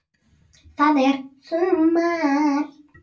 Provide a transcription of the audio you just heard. Það er sumar.